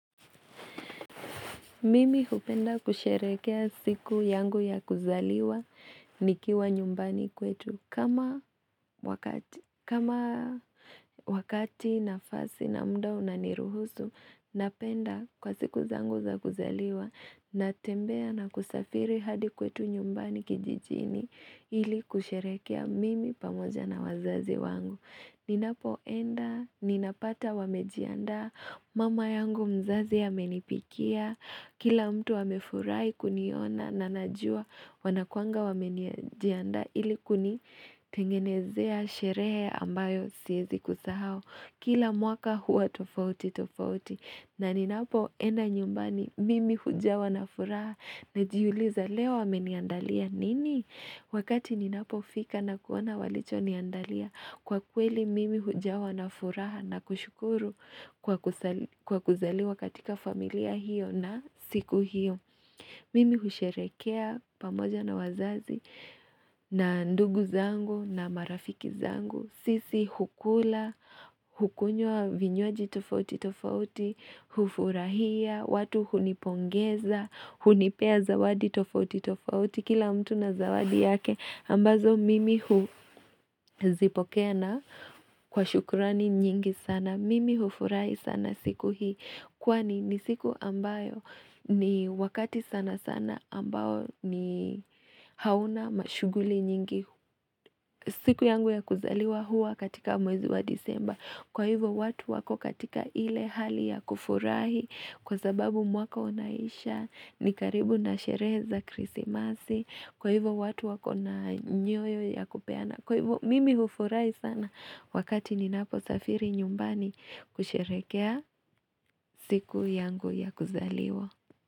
Mimi hupenda kusherekea siku yangu ya kuzaliwa nikiwa nyumbani kwetu kama wakati nafasi na mda unaniruhusu napenda kwa siku zangu za kuzaliwa natembea na kusafiri hadi kwetu nyumbani kijijini ili kusherekea mimi pamoja na wazazi wangu. Ninapo enda, ninapata wamejianda, mama yangu mzazi ya menipikia, kila mtu wamefurai kuniona na najua wanakuanga wamejianda ili kuni tengenezea sherehe ambayo siyezi kusahao, kila mwaka huwa tofauti tofauti. Na ninapo enda nyumbani mimi hujawa na furaha na jiuliza leo ameniandalia nini. Wakati ninapo fika na kuona walicho niandalia kwa kweli mimi hujawa na furaha na kushukuru kwa kuzaliwa katika familia hiyo na siku hiyo. Mimi husherekea pamoja na wazazi na ndugu zangu na marafiki zangu. Sisi hukula, hukunyo vinyoji tofauti tofauti, hufurahia, watu hunipongeza, hunipea zawadi tofauti tofauti, kila mtu na zawadi yake ambazo mimi hu zipokea na kwa shukurani nyingi sana, mimi hufurahi sana siku hii Kwani ni siku ambayo ni wakati sana sana ambayo ni hauna mashuguli nyingi siku yangu ya kuzaliwa hua katika mwezi wa disemba. Kwa hivyo watu wako katika ile hali ya kufurahi kwa sababu mwaka unaisha ni karibu na shereza krisi masi. Kwa hivyo watu wako na nyoyo ya kupiana. Mimi hufurai sana wakati ni napo safiri nyumbani kusherekea siku yangu ya kuzaliwa.